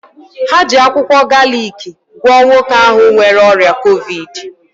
Ha ji akwụkwọ galiki gwọọ nwoke ahụ nwere ọrịa covid 19.